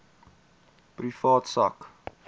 privaat sak